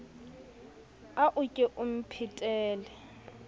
a o ke o mphetele